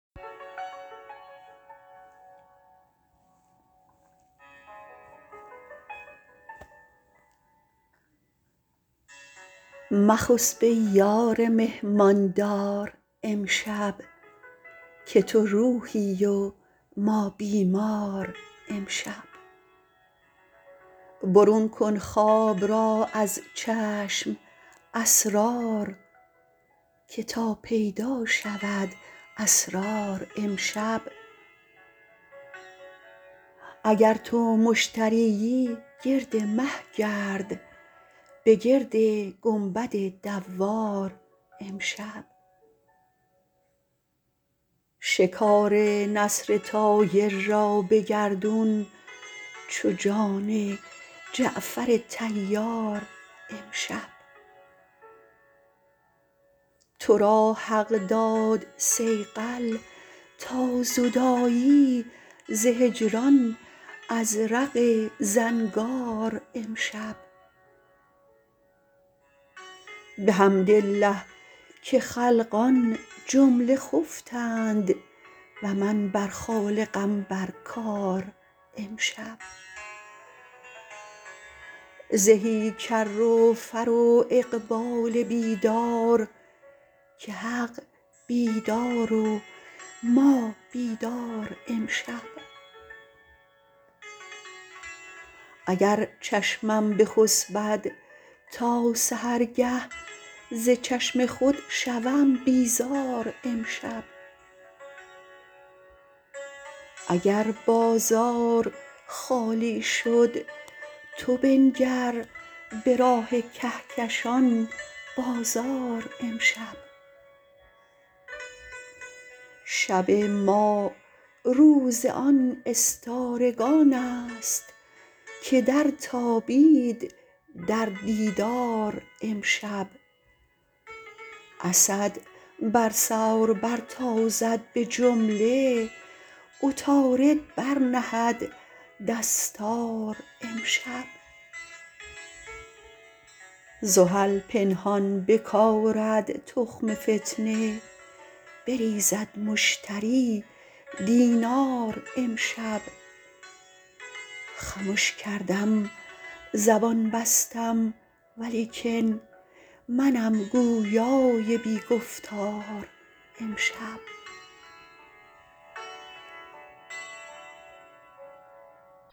مخسب ای یار مهمان دار امشب که تو روحی و ما بیمار امشب برون کن خواب را از چشم اسرار که تا پیدا شود اسرار امشب اگر تو مشترییی گرد مه گرد بگرد گنبد دوار امشب شکار نسر طایر را به گردون چو جان جعفر طیار امشب تو را حق داد صیقل تا زدایی ز هجران ازرق زنگار امشب بحمدالله که خلقان جمله خفتند و من بر خالقم بر کار امشب زهی کر و فر و اقبال بیدار که حق بیدار و ما بیدار امشب اگر چشمم بخسبد تا سحرگه ز چشم خود شوم بیزار امشب اگر بازار خالی شد تو بنگر به راه کهکشان بازار امشب شب ما روز آن استارگان ست که درتابید در دیدار امشب اسد بر ثور برتازد به جمله عطارد برنهد دستار امشب زحل پنهان بکارد تخم فتنه بریزد مشتری دینار امشب خمش کردم زبان بستم ولیکن منم گویای بی گفتار امشب